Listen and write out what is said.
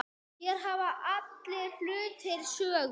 Hér hafa allir hlutir sögu.